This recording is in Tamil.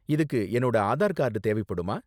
இதுக்கு என்னோட ஆதார் கார்டு தேவைப்படுமா?